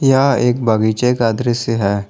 यह एक बगीचे का दृश्य है।